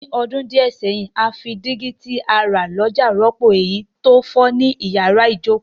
Ní odún díẹ̀ sẹ́hìn, a fi dígí ti a rà lójà rọ́pò èyí to fo ni yàrá ìjoko